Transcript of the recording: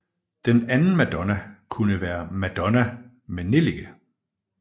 Den anden madonna kunne være Madonna med nellike